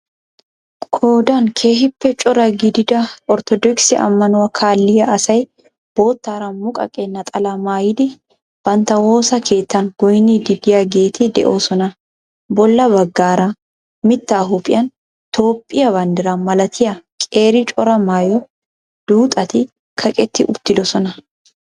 Qoodan keehiippe cora gidida ortodokisse amanuwa kaalliya asay boottaara muqaqe naxalaa maayiidi bantta woosaa keettaan goynnidi de'iyaageeti de'oosona. Bolla baggaara mittaa huuphphiyan toophphiya banddiraa malattiya qeeri cora maayo duuxxatti kaqetti uttidosona.